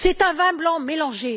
C'est un vin blanc mélangé.